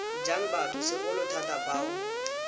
jang batho segolo thata bao